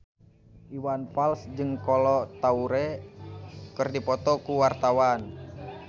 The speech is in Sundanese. Iwan Fals jeung Kolo Taure keur dipoto ku wartawan